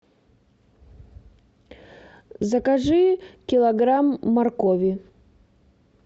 закажи килограмм моркови